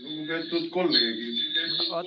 Lugupeetud kolleegid!